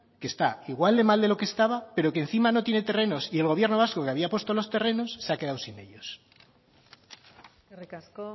que está igual de mal de lo que estaba pero que encima no tiene terrenos y el gobierno vasco que había puesto los terrenos se ha quedado sin ellos eskerrik asko